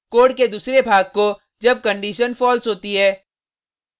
code के दूसरे भाग को जब कंडिशन falseहोती है